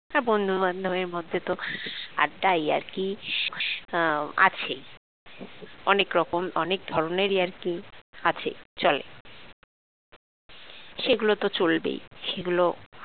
হ্যাঁ, বন্ধু বান্ধবীর মধ্যে তো আড্ডা ইয়ারকি আছে অনেক রকম অনেক ধরনের ইয়ারকি আছেই চলে সেগুলো তো চলবেই সেগুলো